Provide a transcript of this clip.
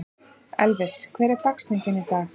Elvis, hver er dagsetningin í dag?